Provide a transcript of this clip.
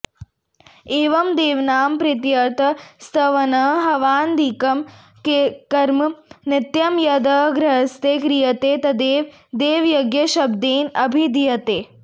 एवं देवानां प्रीत्यर्थं स्तवनं हवनादिकं कर्म नित्यं यद् गृहस्थैः क्रियते तदेव देवयज्ञशब्देन अभिधीयते